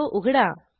तो उघडा